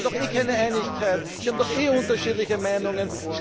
Sie haben doch eh keine Einigkeit, Sie haben doch eh unterschiedliche Meinungen!